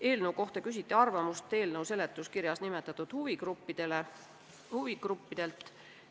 Eelnõu kohta küsiti arvamust seletuskirjas nimetatud huvigruppidelt.